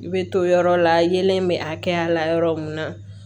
I bɛ to yɔrɔ la yelen bɛ a kɛya la yɔrɔ min na